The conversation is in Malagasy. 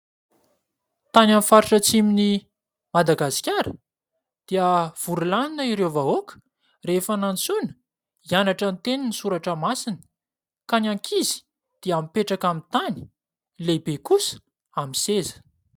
Tany amin'ny faritra atsimon'i Madagasikara dia vory lanona ireo vahoaka rehefa nantsoina hianatra ny tenin'ny Soratra Masina, ka ny ankizy dia mipetraka amin'ny tany, ny lehibe kosa amin'ny seza.